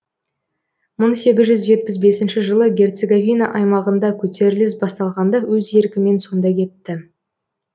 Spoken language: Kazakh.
мың сегіз жүз жетпіс бесінші жылы герцеговина аймағында көтеріліс басталғанда өз еркімен сонда кетті